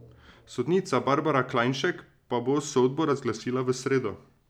Sodnica Barbara Klajnšek pa bo sodbo razglasila v sredo.